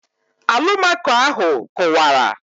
Alụmaco ahụ kụwara